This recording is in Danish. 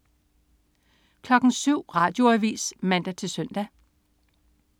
07.00 Radioavis (man-søn)